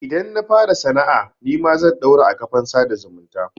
Idan na fara sana'a nima zan ɗaura a kafan sada zumunta.